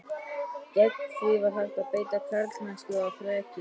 Gegn því var hægt að beita karlmennsku og þreki.